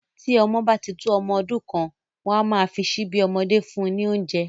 Tí ọmọ bá tí tó ọmọ ọdún kan, wọn a máa fi síbí ọmọdé fún un ní oúnjẹ